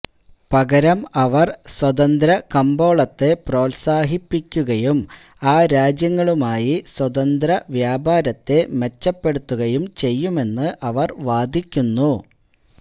പകരം അവർ സ്വതന്ത്ര കമ്പോളത്തെ പ്രോത്സാഹിപ്പിക്കുകയും ആ രാജ്യങ്ങളുമായി സ്വതന്ത്ര വ്യാപാരത്തെ മെച്ചപ്പെടുത്തുകയും ചെയ്യുമെന്ന് അവർ വാദിക്കുന്നു